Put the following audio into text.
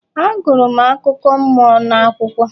Agụrụ m akụkọ mmụọ n'akwụkwọ